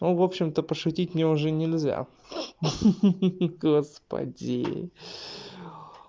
ну общем-то пошутить мне уже нельзя ха-ха господи